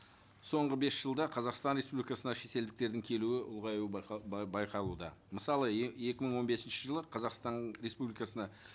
соңғы бес жылда қазақстан республикасына шетелдіктердің келуі ұлғаюы байқалуда мысалы екі мың он бесінші жылы қазақстан республикасына